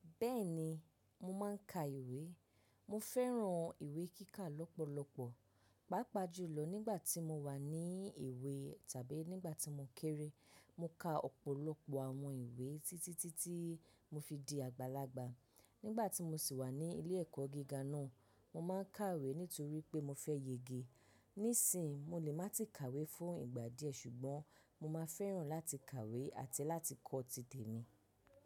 Bẹ́ẹ̀ni, mo máa ń ka ìwé. Mo fẹ́ràn ìwé kíkà lọ́pọ̀lọpọ̀. Pàápàá jùlọ nígbà tí mo wà ní ìwé tàbí nígbà tí mo kéré. Mo ka ọ̀pọ̀lọpọ̀ àwọn ìwé títítí tí mo fi di àgbàlagbà. Nígbà tí mo sì wà ní ilé ẹ̀kọ́ gíga náà, mo máa ń kàwé nítorí pé mo fẹ́ yege. Nísìn, mo lè má ti kàwé fún ìgbà díẹ̀ ṣùgbọ́n mo máa fẹ́ràn láti kàwé àti láti kọ tìtẹ̀ mi.